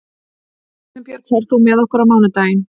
Elínbjörg, ferð þú með okkur á mánudaginn?